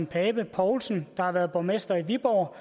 pape poulsen der har været borgmester i viborg